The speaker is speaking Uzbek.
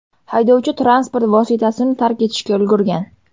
Haydovchi transport vositasini tark etishga ulgurgan.